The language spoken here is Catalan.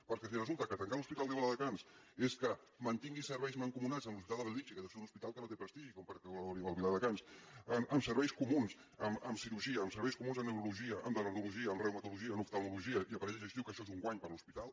perquè si resulta que tancar l’hospital de viladecans és que mantingui serveis mancomunats amb l’hospital de bellvitge que deu ser un hospital que no té prestigi perquè colde viladecans amb serveis comuns en cirurgia amb serveis comuns en neurologia en radiologia en reumatologia en oftalmologia i aparell digestiu que això és un guany per a l’hospital